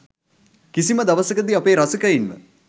කිසිම දවසකදී අපේ රසිකයින්ව